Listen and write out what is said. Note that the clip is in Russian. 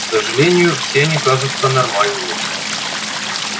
к сожалению все они кажутся нормальными